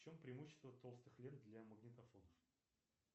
в чем преимущество толстых лент для магнитофона